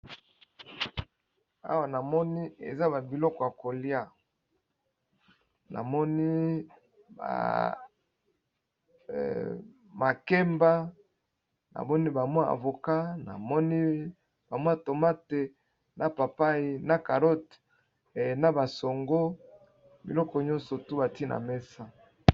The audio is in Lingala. Awa na moni eza babiloko ya kolia, na moni makemba ,na moni bamwa avoka, na moni bamwa tomate, na papai ,na carote na basango biloko nyonso tu bantina mesa.